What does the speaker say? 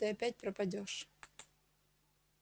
то есть ты опять пропадёшь